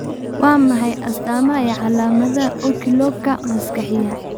Waa maxay astaamaha iyo calaamadaha Oculoooka maskaxiyaan?